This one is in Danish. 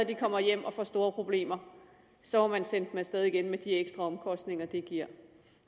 kommer hjem og får store problemer så må man sende dem af sted igen med de ekstra omkostninger det giver